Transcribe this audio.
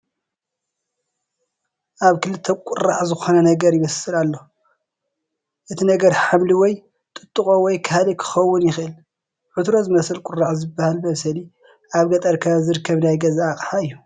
ኣብ ክልተ ቁራዕ ዝኾነ ነገር ይበስል ኣሎ፡፡ እቲ ነገር ሓምሊ ወይ ጥጥቖ ወይ ካልእ ክኸውን ይኽእል፡፡ ዕትሮ ዝመስል ቁራዕ ዝበሃል መብሰሊ ኣብ ገጠር ከባቢ ዝርከብ ናይ ገዛ ኣቕሓ እዩ፡፡